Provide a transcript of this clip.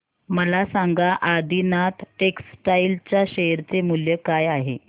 मला सांगा आदिनाथ टेक्स्टटाइल च्या शेअर चे मूल्य काय आहे